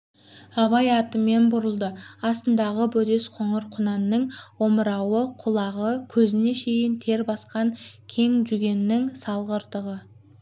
абай атымен бұрылды астындағы бөдес қоңыр құнанның омырауы құлағы көзіне шейін тер басқан кең жүгеннің сағалдырық